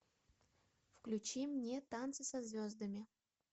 включи мне танцы со звездами